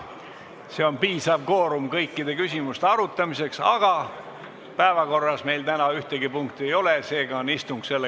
See on piisav kvoorum kõikide küsimuste arutamiseks, aga päevakorras meil täna ühtegi punkti ei ole, seega on istung lõppenud.